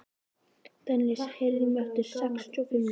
Dennis, heyrðu í mér eftir sextíu og fimm mínútur.